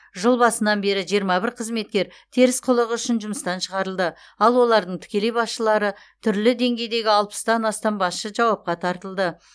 жыл басынан бері жиырма бір қызметкер теріс қылығы үшін жұмыстан шығарылды ал олардың тікелей басшылары түрлі деңгейдегі алпыстан астам басшы жауапқа тартылды